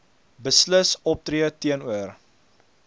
beslis optree teenoor